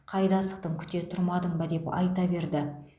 қайда асықтың күте тұрмадың ба деп айта берді